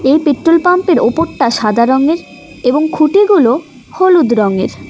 এই পেট্রোল পাম্পের ওপরটা সাদা রঙের এবং খুঁটিগুলো হলুদ রঙের।